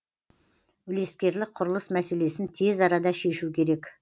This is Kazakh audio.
үлескерлік құрылыс мәселесін тез арада шешу керек